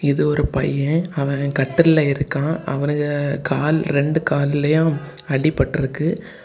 இது ஒரு பையன் அவன் கட்டில் ல இருக்கா அவனுக கால் ரெண்டு கால்லயு அடிப்பட்டுருக்கு.